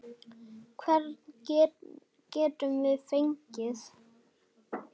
Hvern getum við fengið?